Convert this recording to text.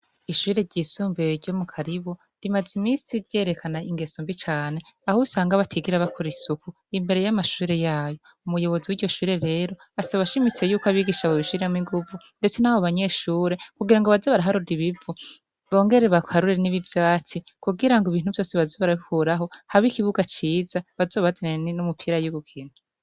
Ishure ryisumbeye ryo mu karibo rimaze imisii ryerekana ingeso mbi cane aho usanga batigira bakura isuku imbere y'amashure yayo umuyobozi w' ryo shure rero asa abashimitsi yuko abigisha abo bishiramo inguvu, ndetse n'abo banyeshure kugira ngo bazi baraharuda ibivu bongere bakarure n'ibivyatsi kugira ngo ibintu vyose bazibarabkuraho habike iibuka ciza bazobatenene n'umupira yugu kintu.